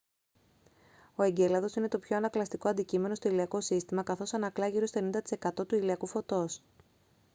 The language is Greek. ο εγκέλαδος είναι το πιο ανακλαστικό αντικείμενο στο ηλιακό σύστημα καθώς ανακλά γύρω στο 90 τοις εκατό του ηλιακού φωτός